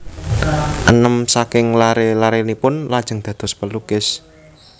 Enem saking laré larénipun lajeng dados pelukis